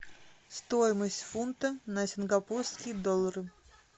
стоимость фунта на сингапурские доллары